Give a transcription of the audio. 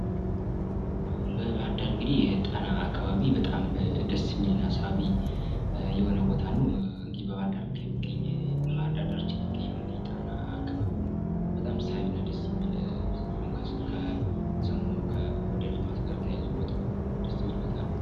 የደን መጨፍጨፍና የአፈር መሸርሸር በተፈጥሮ ላይ የረጅም ጊዜ ተጽዕኖ የሚያሳድሩ የሰው ልጅ እንቅስቃሴዎች ናቸው።